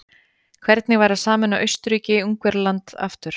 Hvernig væri að sameina Austurríki-Ungverjaland aftur?